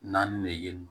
Naani ne ye yen nɔ